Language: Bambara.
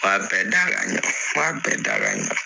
M'a bɛɛ da ka ɲɛ, m'a bɛɛ da ka ɲɛ